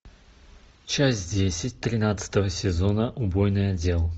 часть десять тринадцатого сезона убойный отдел